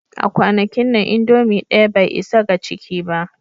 A kwanakin nan, indomie ɗaya bai isa ga ciki ba